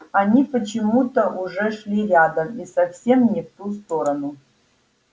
они почему то уже шли рядом и совсем не в ту сторону